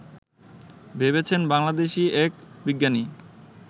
ভেবেছেন বাংলাদেশি এক বিজ্ঞানী